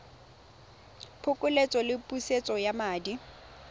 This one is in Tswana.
phokoletso le pusetso ya madi